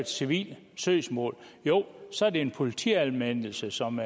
civilt søgsmål så er det en politianmeldelse som